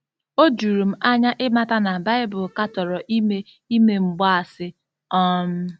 O juru m anya ịmata na Baịbụl katọrọ ime ime mgbaasị. um